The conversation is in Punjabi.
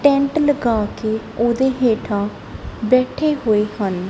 ਟੈਂਟ ਲਗਾ ਕੇ ਉਹਦੇ ਹੇਠਾਂ ਬੈਠੇ ਹੋਏ ਹਨ।